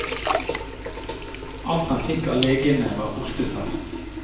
Alt han fikk av legene var hostesaft.